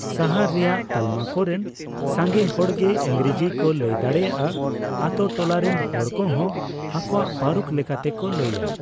ᱥᱟᱦᱟᱨ ᱨᱮᱭᱟᱜ ᱛᱟᱞᱢᱟ ᱠᱚᱨᱮᱱ ᱥᱟᱸᱜᱮ ᱦᱚᱲ ᱜᱮ ᱤᱝᱨᱮᱡᱤ ᱠᱚ ᱞᱟᱹᱭ ᱫᱟᱲᱮᱭᱟᱜᱼᱟ; ᱟᱛᱳ ᱴᱚᱞᱟ ᱨᱮᱱ ᱦᱚᱲ ᱠᱚᱦᱚᱸ ᱟᱠᱚᱣᱟᱜ ᱯᱟᱹᱨᱩᱠᱷ ᱞᱮᱠᱟᱛᱮᱠᱚ ᱞᱟᱹᱭᱟ ᱾